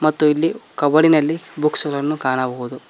ಮತ್ತು ಇಲ್ಲಿ ಕಬೋಡಿನಲ್ಲಿ ಬುಕ್ಸ್ ಗಳನ್ನು ಕಾಣಬಹುದು.